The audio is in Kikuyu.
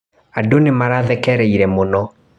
Andũ nĩmarathekereire mũno.